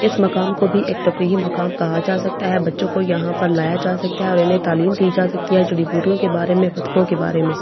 इस मकाम को भी एक तफरीहिम मकाम कहा जा सकता है बच्‍चों को यहां पर लाया जा सकता है और इन्‍हें तालीम दी जा सकती है जड़ी बूटियों के बारे में भतको के बारे में --